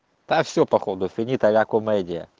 а все походу финита ля комедия